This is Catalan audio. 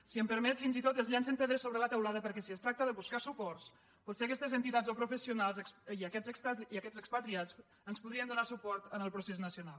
si m’ho permet fins i tot es llancen pedres sobre la teulada perquè si es tracta de buscar suports potser aquestes entitats o professionals i aquests expatriats ens podrien donar suport en el procés nacional